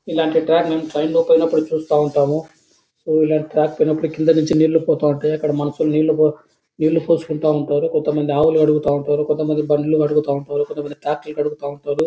ఇలాంటి ట్రాక్ ని ట్రైన్ లో పోయినప్పుడు చూస్తా ఉంటాము. సో ఇలాంటి ట్రాక్ కి కింద నీళ్లు పోతా ఉంటాయి. అక్కడ మనుషులు నీళ్లు పోసుకుంటా ఉంటారు. కొంతమంది ఆవ్వులు కడుగుతా ఉంటారు. కొంత మంది బండ్లు కడుగుతా ఉంటారు. కొంత మంది ట్రాక్టర్ కడుగుతా ఉంటారు.